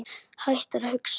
Hættir að hugsa.